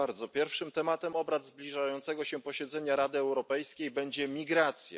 Pierwszym tematem obrad zbliżającego się posiedzenia Rady Europejskiej będzie migracja.